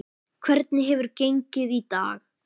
Hvernig hefur gengið í dag?